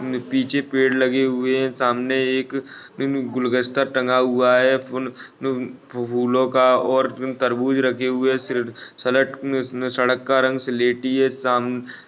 पीछे पेड़ लगे हुए है सामने एक गुलगस्ता टंगा हुआ है फूल फूलों का और तरबूज़ रखे हुए है सड सड़क-सड़क का रंग सलेटी हैसाम--